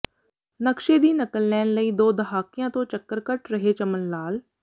ਨਕਸ਼ੇ ਦੀ ਨਕਲ ਲੈਣ ਲਈ ਦੋ ਦਹਾਕਿਆਂ ਤੋਂ ਚੱਕਰ ਕੱਟ ਰਿਹੈ ਚਮਨ ਲਾਲ